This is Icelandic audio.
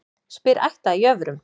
Spyr ætt að jöfrum.